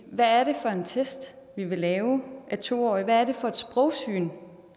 hvad er det for en test vi vil lave af to årige hvad er det for et sprogsyn